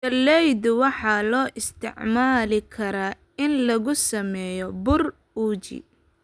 Galleyda waxaa loo isticmaali karaa in lagu sameeyo bur uji.